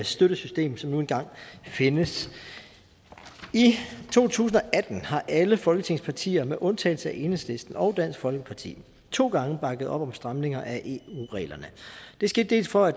støttesystem som nu engang findes i to tusind og atten har alle folketingets partier med undtagelse af enhedslisten og dansk folkeparti to gange bakket op om stramninger af eu reglerne det skete dels for